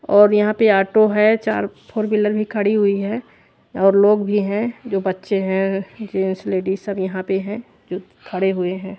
और यहाँ पे ऑटो है चार फॉर व्हीलर भी खड़ी हुई है और लोग भी है जो बच्चे है जेन्स लेडिस सब यहाँ पे है जो खड़े हुए है।